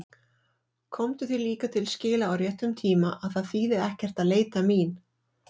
Komdu því líka til skila á réttum tíma að það þýði ekkert að leita mín.